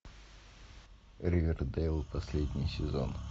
ривердейл последний сезон